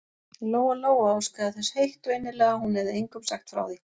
Lóa-Lóa óskaði þess heitt og innilega að hún hefði engum sagt frá því.